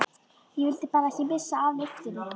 Ég vildi bara ekki missa af lyftunni!